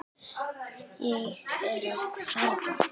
Ég er að kafna.